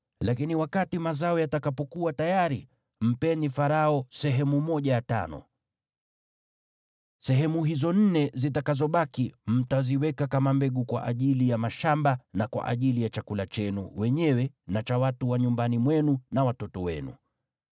Lakini wakati mazao yatakapokuwa tayari, mpeni Farao sehemu ya tano. Sehemu hizo nne zitakazobaki mtaziweka kama mbegu kwa ajili ya mashamba na kwa ajili ya chakula chenu wenyewe na cha watu wa nyumbani mwenu na watoto wenu.”